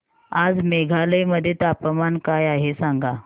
आज मेघालय मध्ये तापमान काय आहे सांगा